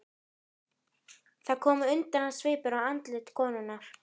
Það kom undrunarsvipur á andlit konunnar.